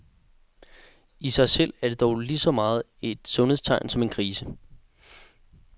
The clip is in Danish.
I sig selv er det dog lige så meget et sundhedstegn som en krise.